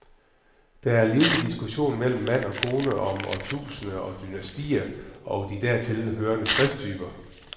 Der er livlig diskussion mellem mand og kone om årtusinder og dynastier og de dertil hørende skrifttyper.